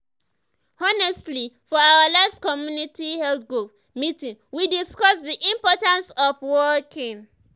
honestly for our last community health group meeting we discuss the importance of walking.